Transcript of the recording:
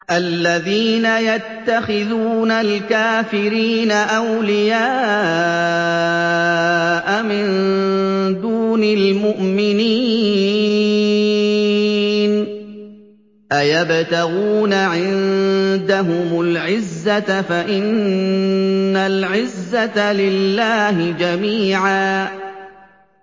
الَّذِينَ يَتَّخِذُونَ الْكَافِرِينَ أَوْلِيَاءَ مِن دُونِ الْمُؤْمِنِينَ ۚ أَيَبْتَغُونَ عِندَهُمُ الْعِزَّةَ فَإِنَّ الْعِزَّةَ لِلَّهِ جَمِيعًا